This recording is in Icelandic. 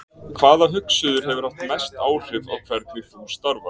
Hvaða hugsuður hefur haft mest áhrif á hvernig þú starfar?